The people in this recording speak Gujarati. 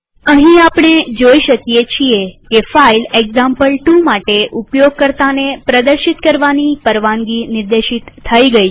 અહીં આપણે જોઈ શકીએ છીએ કે ફાઈલ એક્ઝામ્પલ2 માટે ઉપયોગકર્તાને પ્રદર્શિત કરવાની પરવાનગી નિર્દેશિત થઇ ગઈ છે